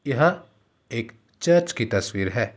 यह एक चर्च की तस्वीर है।